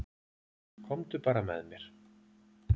Komdu bara með mér.